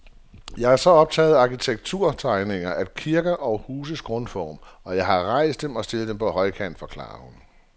Jeg er jo så optaget af arkitekturtegninger, af kirker og huses grundform, og jeg har rejst dem og stillet dem på højkant, forklarer hun.